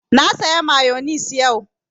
Na saya mayonis yau